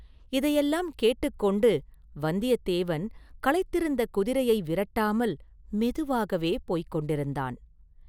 இதையெல்லாம் கேட்டுக் கொண்டு வந்தியத்தேவன் களைத்திருந்த குதிரையை விரட்டாமல் மெதுவாகவே போய்க் கொண்டிருந்தான்.